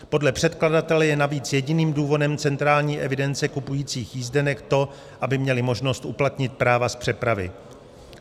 Podle předkladatele je navíc jediným důvodem centrální evidence kupujících jízdenek to, aby měli možnost uplatnit práva z přepravy.